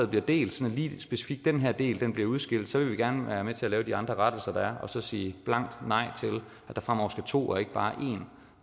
bliver delt så lige specifikt den her del bliver udskilt så vil vi gerne være med til de andre rettelser der er og så sige blankt nej til at der fremover skal to og ikke bare en